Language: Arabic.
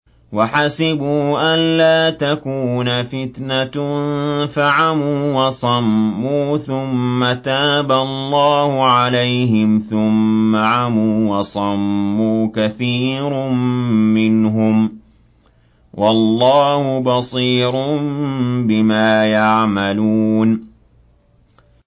وَحَسِبُوا أَلَّا تَكُونَ فِتْنَةٌ فَعَمُوا وَصَمُّوا ثُمَّ تَابَ اللَّهُ عَلَيْهِمْ ثُمَّ عَمُوا وَصَمُّوا كَثِيرٌ مِّنْهُمْ ۚ وَاللَّهُ بَصِيرٌ بِمَا يَعْمَلُونَ